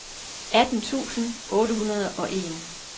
atten tusind otte hundrede og en